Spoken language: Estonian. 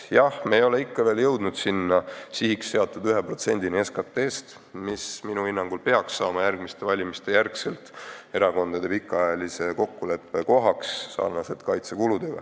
Jah, me ei ole ikka veel jõudnud sihiks seatud 1%-ni SKT-st, mis minu hinnangul peaks pärast järgmisi valimisi saama erakondade pikaajalise kokkuleppe küsimuseks nagu ka kaitsekulud.